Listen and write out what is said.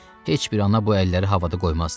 Heç bir ana bu əlləri havada qoymazdı.